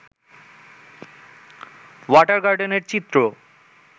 water গার্ডেনের চিত্র